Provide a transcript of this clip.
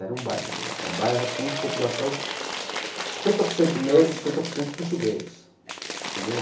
Era um bairro negro, um bairro assim de população de cinquenta por cento negro e cinquenta por cento português entendeu.